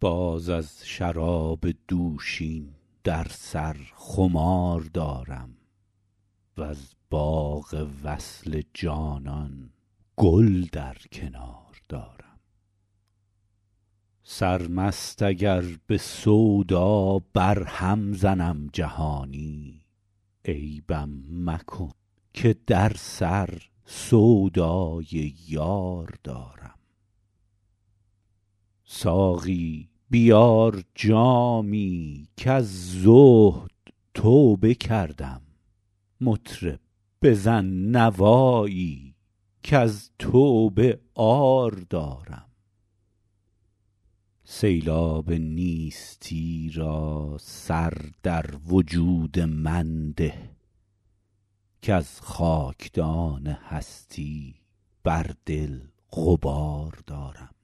باز از شراب دوشین در سر خمار دارم وز باغ وصل جانان گل در کنار دارم سرمست اگر به سودا برهم زنم جهانی عیبم مکن که در سر سودای یار دارم ساقی بیار جامی کز زهد توبه کردم مطرب بزن نوایی کز توبه عار دارم سیلاب نیستی را سر در وجود من ده کز خاکدان هستی بر دل غبار دارم